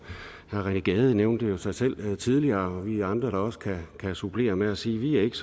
herre rené gade nævnte sig selv tidligere og vi er andre der også kan kan supplere med at sige at vi ikke